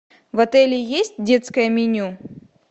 в отеле есть детское меню